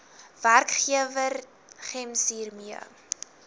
werkgewer gems hiermee